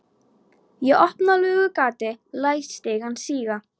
Ég opna lúgugatið og læt stigann síga.